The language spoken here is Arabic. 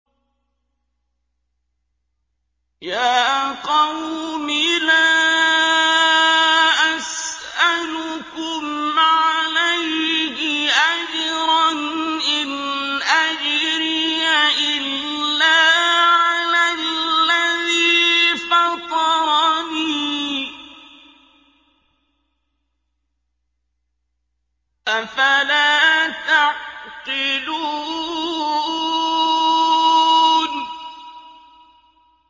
يَا قَوْمِ لَا أَسْأَلُكُمْ عَلَيْهِ أَجْرًا ۖ إِنْ أَجْرِيَ إِلَّا عَلَى الَّذِي فَطَرَنِي ۚ أَفَلَا تَعْقِلُونَ